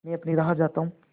मैं अपनी राह जाता हूँ